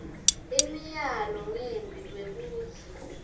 imiyalo ngembi kwekutsi